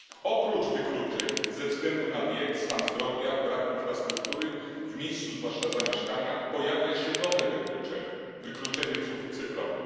Oprócz wykluczeń ze względu na wiek, stan zdrowia, brak infrastruktury, zwłaszcza w miejscu zamieszkania, pojawia się nowe wykluczenie wykluczenie cyfrowe.